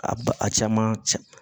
A ba a caman can